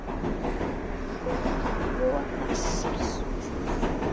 Lægir vestantil Í kvöld